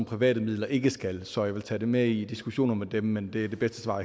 private midler ikke skal så jeg vil tage det med i diskussioner med dem men det er det bedste svar